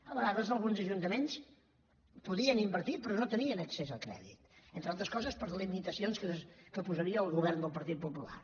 a vegades alguns ajuntaments podien invertir però no tenien accés al crèdit entre altres coses per limitacions que posaria el govern del partit popular